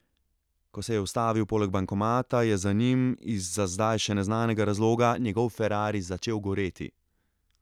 Ko se je ustavil poleg bankomata, je za njim iz za zdaj še neznanega razloga njegov ferrari začel goreti.